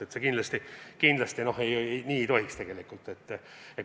See kindlasti ei tohiks tegelikult nii olla.